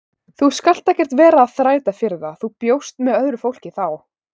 Þú skalt ekkert vera að þræta fyrir það, þú bjóst með öðru fólki þá!